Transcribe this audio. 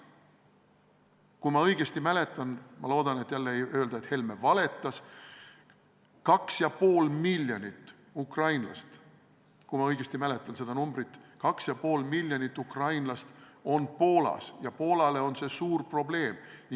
Kui ma õigesti mäletan – ma loodan, et jälle ei öelda, et Helme valetas –, siis 2,5 miljonit ukrainlast on Poolas ja Poolale on see suur probleem.